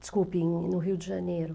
Desculpe, em, no Rio de Janeiro.